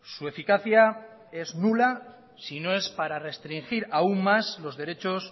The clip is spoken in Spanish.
su eficacia es nula si no es para restringir aún más los derechos